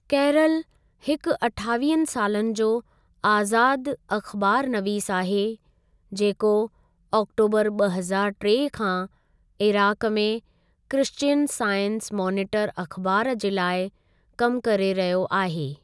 Carol हिकु अठावीह सालनि जो आज़ादु अख़बारु नवीसु आहे, जेको आक्टोबरु ॿ हज़ारु टे खां इराक में क्रिश्चियन साइंस मॉनिटर अख़बारु जे लाइ कम करे रहियो आहे।